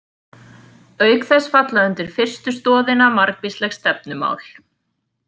Auk þess falla undir fyrstu stoðina margvísleg stefnumál.